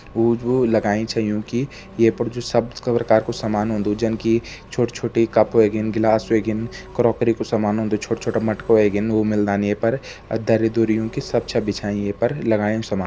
ऊ जो लगाई छां यूं की ये पर जो को सामान हुंदु जन की छोट-छोटी कप हुइगीन ग्लास हुइगीन क्रॉकरी कु सामान हुंदु छोट-छोट मटकु ह्वेगिन वै मिलदा यें पर और दरी-दुरी यूं की सब छा बिछ्याइँ ये पर लाग्यां समान।